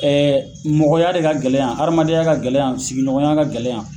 mɔgɔya de ka gɛlɛ yan, hadamadenya ka gɛlɛ yan ,sigiɲɔgɔnya ka gɛlɛ yan.